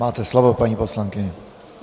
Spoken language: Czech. Máte slovo, paní poslankyně.